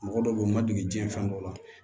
Mɔgɔ dɔw be yen u ma deli diɲɛ fɛn dɔw la